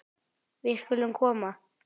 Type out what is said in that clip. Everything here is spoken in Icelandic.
Við skulum koma